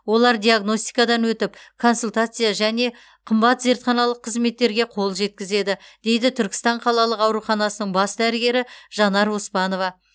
олар диагностикадан өтіп консультация және қымбат зертханалық қызметтерге қол жеткізеді дейді түркістан қалалық ауруханасының бас дәрігері жанар оспанова